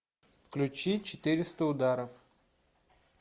включи четыреста ударов